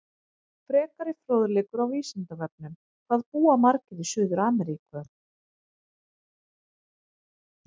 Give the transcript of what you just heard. Frekari fróðleikur á Vísindavefnum: Hvað búa margir í Suður-Ameríku?